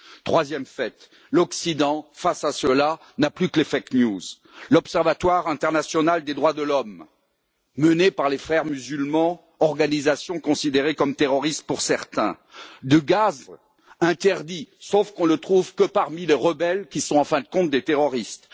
Troisième fait l'Occident, face à cela, n'a plus que les fausses informations l'observatoire international des droits de l'homme, mené par les Frères musulmans, organisation considérée comme terroriste pour certains, dénonce l'utilisation de gaz interdits, sauf qu'on ne le trouve que parmi les rebelles, qui sont, en fin de compte, des terroristes.